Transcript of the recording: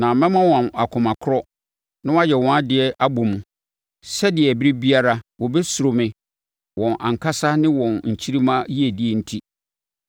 Na mɛma wɔn akoma korɔ na wɔayɛ wɔn adeɛ abɔ mu, sɛdeɛ, ɛberɛ biara wɔbɛsuro me wɔn ankasa ne wɔn nkyirimma yiedie enti.